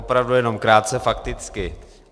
Opravdu jenom krátce fakticky.